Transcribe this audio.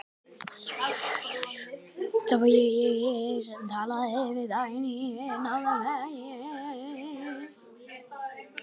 Það var hér sem ég talaði við Dagnýju, nákvæmlega hér.